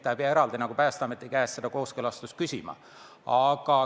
Ta ei pea seda eraldi Päästeameti käest küsima.